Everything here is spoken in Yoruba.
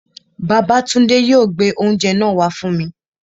Babátúndé yóò gbé oúnjẹ náà wá fún mi